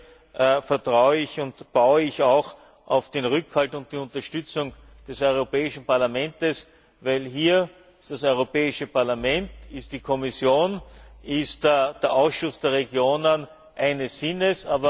Hier vertraue und baue ich auch auf den Rückhalt und die Unterstützung des Europäischen Parlaments, denn hier sind das Europäische Parlament, die Kommission und der Ausschuss der Regionen eines Sinnes.